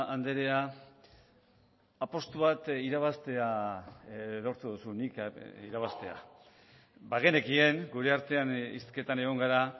andrea apustu bat irabaztea lortu duzu nik irabaztea bagenekien gure artean hizketan egon gara